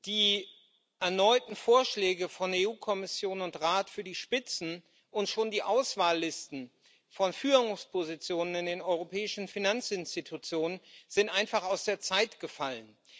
Die erneuten Vorschläge von EU Kommission und Rat für die Spitzen und bereits für die Auswahllisten von Führungspositionen in den europäischen Finanzinstitutionen sind einfach aus der Zeit gefallen.